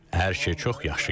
Hər şey çox yaxşı gedir.